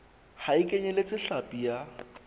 ha e kenyeletse hlapi ya